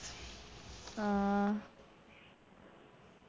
ആ